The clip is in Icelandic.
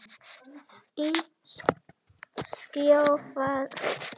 Í kjölfarið bárust fréttir þess efnis að Svisslendingurinn yrði frá keppni út tímabilið.